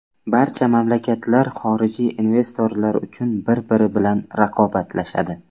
Barcha mamlakatlar xorijiy investorlar uchun bir-biri bilan raqobatlashadi.